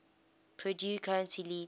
purdue currently leads